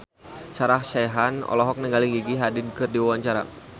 Sarah Sechan olohok ningali Gigi Hadid keur diwawancara